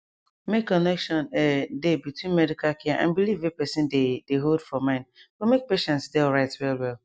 make connection ehh dey between medical care and belief wey person dey dey hold for mind go make patient dey alright well well